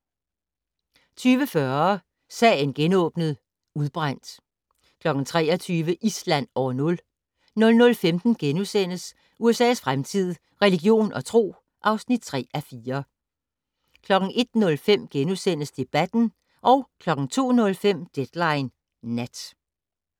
20:40: Sagen genåbnet: Udbrændt 23:00: Island år nul 00:15: USA's fremtid - religion og tro (3:4)* 01:05: Debatten * 02:05: Deadline Nat